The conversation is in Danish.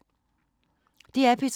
DR P3